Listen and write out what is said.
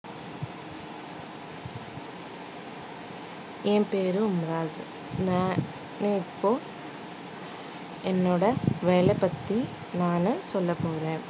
என் பேரு நான் இப்போ என்னோட வேலை பத்தி நானு சொல்லப் போறேன்